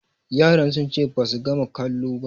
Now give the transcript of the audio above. Yaran sun ce basu gama kalo ba